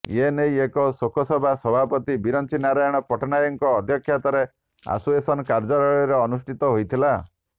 ଏନେଇ ଏକ ଶୋକସଭା ସଭାପତି ବିରଂଚି ନାରାୟଣ ପଟ୍ଟନାୟକଙ୍କ ଅଧ୍ୟକ୍ଷତାରେ ଆସୋସିଏସନ କାର୍ଯ୍ୟାଳୟରେ ଅନୁଷ୍ଠିତ ହୋଇଥିଲା